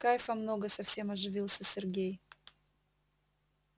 кайфа много совсем оживился сергей